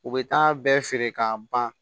U bɛ taa bɛɛ feere k'a ban